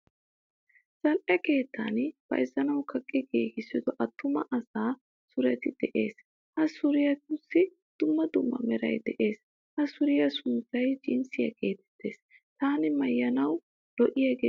Zal'ee keettan bayzznawu kaqqi giigisido attuma asa sureti de'ees, Ha suretussi dumma dumma meray de'ees. Ha suriya sunttay jinsiyaa geettees. Tana maayuwan lo'iyage suriyaa.